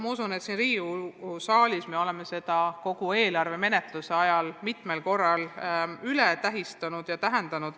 Ma usun, et siin Riigikogu saalis me oleme sellest kogu eelarve menetluse ajal mitmel korral rääkinud.